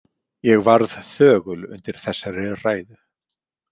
Ég varð þögul undir þessari ræðu.